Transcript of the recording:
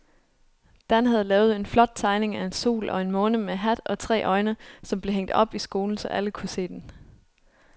Dan havde lavet en flot tegning af en sol og en måne med hat og tre øjne, som blev hængt op i skolen, så alle kunne se den.